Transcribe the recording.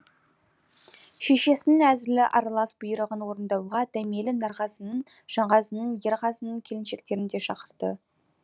шешесінің әзілі аралас бұйрығын орындауға дәмелі нарғазының жанғазының ерғазының келіншектерін де шақырды